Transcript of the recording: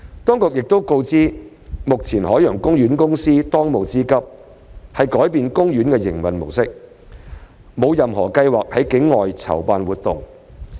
當局亦告知，海洋公園公司的當務之急是改變其營運模式，沒有任何計劃在境外籌辦活動。